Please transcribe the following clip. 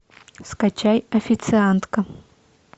скачай официантка